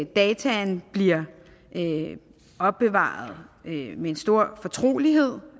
data bliver opbevaret med stor fortrolighed